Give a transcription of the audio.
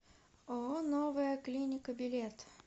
ооо новая клиника билет